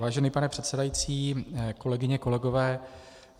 Vážený pane předsedající, kolegyně, kolegové.